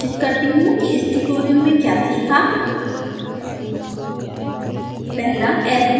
अब मैं सारांशित करती हूँ कि इस ट्यूटोरियल में क्या सीखा